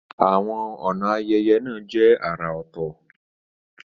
Àwọn ọ̀nà ayẹyẹ náà jẹ́ àrà ọ̀tọ̀ sp.